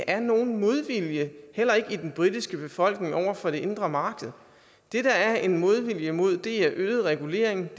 er nogen modvilje heller ikke i den britiske befolkning over for det indre marked det der er en modvilje mod er øget regulering og